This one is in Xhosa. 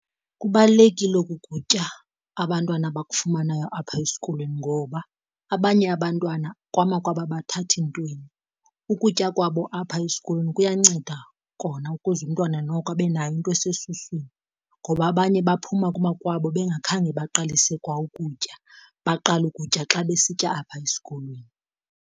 Kubalulekile oku kutya abantwana bakufumanayo apha esikolweni ngoba abanye abantwana kwamakwabo abathathi ntweni, ukutya kwabo apha esikolweni kuyanceda kona ukuze umntwana noko abe nayo into esesuswini. Ngoba abanye baphuma kwamakwabo bengakhange baqalise kwa ukutya baqale ukutya xa besitya apha esikolweni.